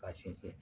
K'a sinsin